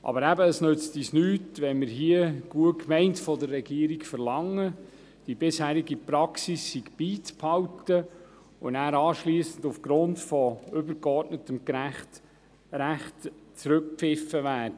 Aber eben: Es nützt uns nichts, wenn wir, gut gemeint, von der Regierung verlangen, die bisherige Praxis beizubehalten und anschliessend aufgrund von übergeordnetem Recht zurückgepfiffen werden.